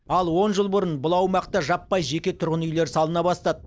ал он жыл бұрын бұл аумақта жаппай жеке тұрғын үйлер салына бастады